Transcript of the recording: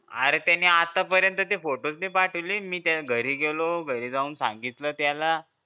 अरे त्यांनी आत्ता पर्यंतचे photo ते पाठविले अन मी घरी गेलो घरी जाऊन सांगितलं त्याला